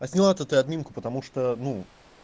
отняла-то ты админку потому что ну